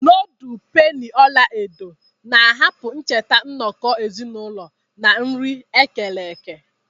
Nudul peni ọla edo na-ahapụ ncheta nnọkọ ezinụlọ na nri ekereke.